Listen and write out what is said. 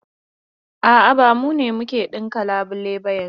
A'a, ba mu ne muke ɗinka labulai ba yanzun.